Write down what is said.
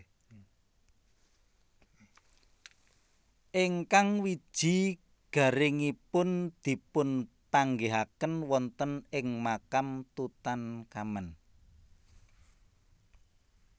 Ingkang wiji garingipun dipunpanggihaken wonten ing makam Tutankhamen